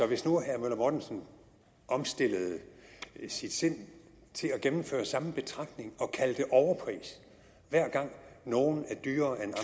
hvis nu herre møller mortensen omstillede sit sind til at gennemføre samme betragtninger og kalde det en overpris hver gang nogle er dyrere end